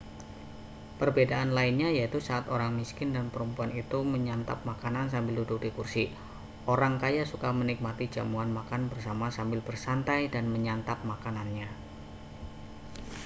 perbedaan lainnya yaitu saat orang miskin dan perempuan itu menyantap makanan sambil duduk di kursi orang kaya suka menikmati jamuan makan bersama sambil bersantai dan menyantap makanannya